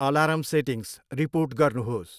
Alarm settings report गर्नुहोस्।